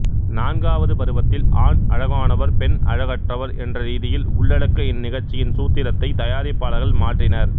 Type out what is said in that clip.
நான்காவது பருவத்தில் ஆண் அழகானவர் பெண் அழகற்றவர் என்றரீதியில் உள்ளடக்க இந்நிகழ்ச்சியின் சூத்திரத்தை தயாரிப்பாளர்கள் மாற்றினர்